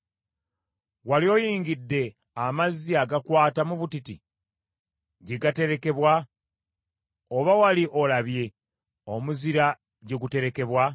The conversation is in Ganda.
“Wali oyingidde amazzi agakwata mu butiti, gye gaterekebwa, oba wali olabye omuzira gye guterekebwa?